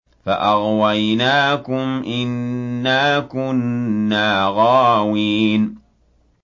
فَأَغْوَيْنَاكُمْ إِنَّا كُنَّا غَاوِينَ